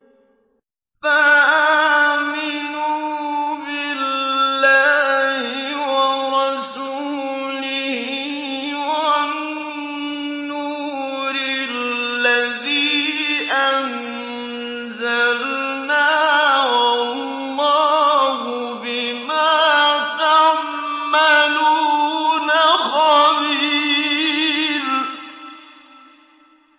فَآمِنُوا بِاللَّهِ وَرَسُولِهِ وَالنُّورِ الَّذِي أَنزَلْنَا ۚ وَاللَّهُ بِمَا تَعْمَلُونَ خَبِيرٌ